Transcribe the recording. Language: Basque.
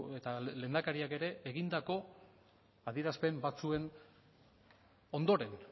eta lehendakariak ere egindako adierazpen batzuen ondoren